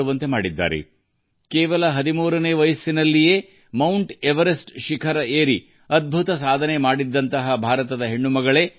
ಈ ಪೂರ್ಣಾ ಕೇವಲ 13 ನೇ ವಯಸ್ಸಿನಲ್ಲಿ ಮೌಂಟ್ ಎವರೆಸ್ಟ್ ಏರುವ ಅದ್ಭುತ ಸಾಧನೆಯನ್ನು ಮಾಡಿದ ಭಾರತದ ಮಗಳು